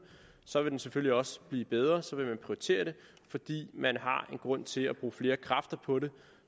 så vil den selvfølgelig også blive bedre så vil man prioritere det fordi man har en grund til at bruge flere kræfter på det